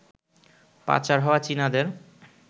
পাচার হওয়া চীনাদের